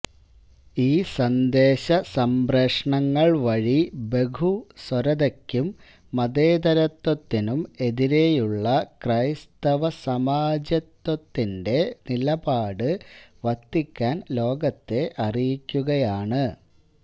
ഈ സന്ദേശ സംപ്രേഷണങ്ങള് വഴി ബഹുസ്വരതയ്ക്കും മതേതരത്ത്വത്തിനും എതിരേയുള്ള ക്രൈസ്തവ സാമ്രാജ്യത്വത്തിന്റെ നിലപാട് വത്തിക്കാന് ലോകത്തെ അറിയിക്കുകയാണ്